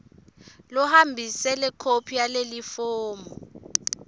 lohambise lekhophi yalelifomu